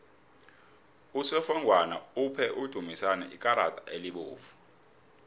usofengwana uphe udumisani ikarada elibovu